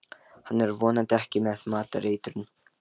Hann er vonandi ekki með matareitrun.